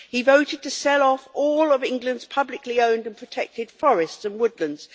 He voted to sell off all of England's publicly owned and protected forests and woodlands.